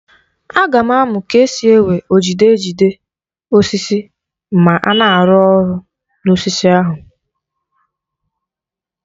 Aga m amụ ka esi ewe ojide ejide osisi ma a na-arụ ọrụ n'osisi ahụ.